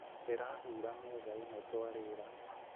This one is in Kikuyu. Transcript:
Ndĩrahura metha ĩrĩa twarĩĩra